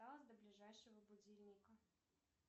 до ближайшего будильника